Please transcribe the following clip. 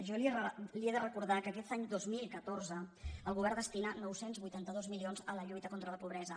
jo li he de recordar que aquest any dos mil catorze el govern destina nou cents i vuitanta dos milions a la lluita contra la pobresa